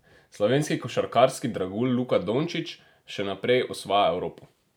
Slovenski košarkarski dragulj Luka Dončić še naprej osvaja Evropo!